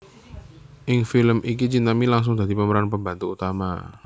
Ing film iki Chintami langsung dadi pemeran pembantu utama